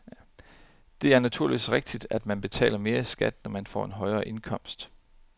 Det er naturligvis rigtigt, at man betaler mere i skat, når man får en højere indkomst.